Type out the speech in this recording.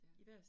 Ja